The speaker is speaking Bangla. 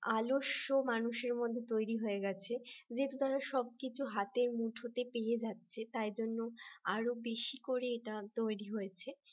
আলস্য মানুষের মধ্যে তৈরি হয়ে গেছে যে তাদের সবকিছু হাতের মুঠোতে পেয়ে যাচ্ছে তাই জন্য আরও বেশি করে এটা তৈরি হয়েছে